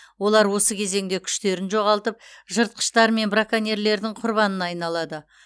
олар осы кезеңде күштерін жоғалтып жыртқыштар мен браконьерлердің құрбанына айналады